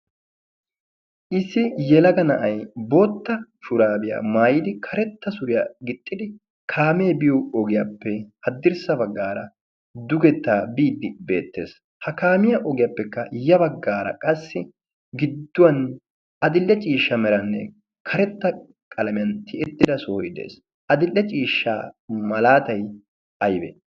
Issi yelaga na'ay bootta shuraabiya mayidi karetta suriya gixxidi kaamee biyo ogiyappe haddirssa baggaara dugettaa biiddi beettes. Ha kaamiya ogiyappe ya baggaara qassi adil'e cishsha meranne karetta qalamiyan tiyettida sohoy de'es. Adil'e ciishsha malaatay ayibee?